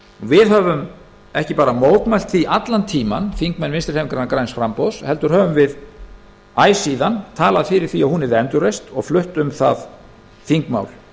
við höfum ekki bara mótmælt því allan tímann þingmenn vinstri hreyfingarinnar græns framboðs heldur höfum við æ síðan talað fyrir því að hún yrði endurreist og flutt um það þingmál